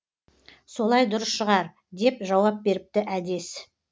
солай дұрыс шығар деп жауап беріпті әдес